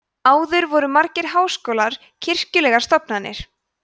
áður voru margir háskólar kirkjulegar stofnanir